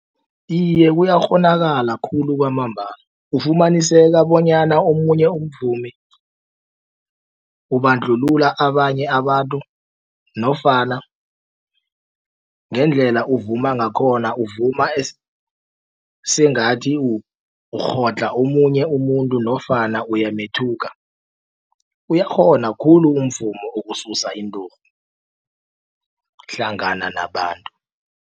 Iye kuyakghonakala khulu kwamambala ufumaniseka bonyana omunye umvumi ubandlulula abanye abantu nofana ngendlela uvuma ngakhona uvuma sengathi urhodlha omunye umuntu nofana uyamethuka uyakghona khulu umvumo ukususa inturhu hlangana nabantu.